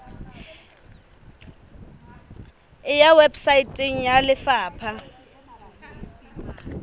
e ya weposaeteng ya lefapha